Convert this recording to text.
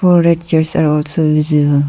four red chairs are also visible.